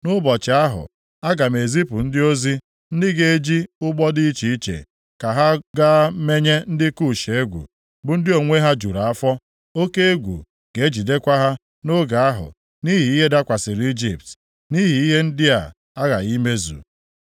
“ ‘Nʼụbọchị ahụ, aga m ezipu ndị ozi ndị ga-eji ụgbọ dị iche iche, ka ha gaa menye ndị Kush egwu, bụ ndị onwe ha jụrụ afọ. Oke egwu ga-ejidekwa ha nʼoge ahụ nʼihi ihe dakwasịrị Ijipt, nʼihi ihe ndị a aghaghị imezu.